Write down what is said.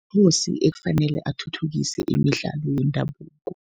ekufanele athuthukise imidlalo yendabuko.